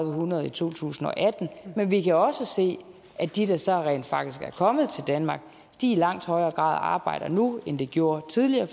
hundrede i to tusind og atten men vi kan også se at de der så rent faktisk er kommet til danmark i langt højere grad arbejder nu end de gjorde tidligere